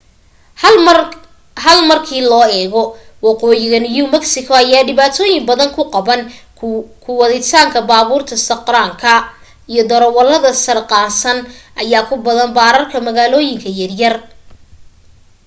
hal markii loo eego waqooyiga new mexico ayaa dhibaatooyin badan ku qabaan ku waditaanka baaburka sarqaanka iyo darawalada sarqaansan ayaa ku badan baararka magaalooyinka yar yar